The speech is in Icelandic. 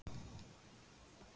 Ég hef aldrei verið aðalþjálfari.